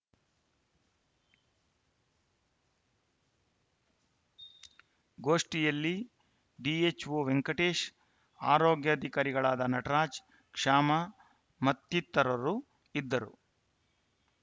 ಗೋಷ್ಠಿಯಲ್ಲಿ ಡಿಎಚ್‌ಒ ವೆಂಕಟೇಶ್‌ ಆರೋಗ್ಯಾಧಿಕಾರಿಗಳಾದ ನಟರಾಜ್‌ ಕ್ಷಾಮ ಮತ್ತಿತರರು ಇದ್ದರು